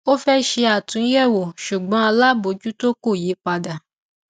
ó fẹ ṣe àtúnyẹwò ṣùgbọn alábòjútó ko yí padà